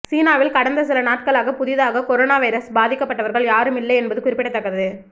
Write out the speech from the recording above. சீனாவில் கடந்த சில நாட்களாக புதிதாக கொரோனா வைரஸ் பாதிக்கப்பட்டவர்கள் யாரும் இல்லை என்பது குறிப்பிடத்தக்கது